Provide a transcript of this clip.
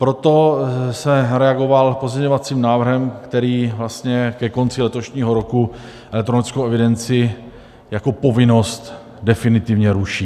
Proto jsem reagoval pozměňovacím návrhem, který vlastně ke konci letošního roku elektronickou evidenci jako povinnost definitivně ruší.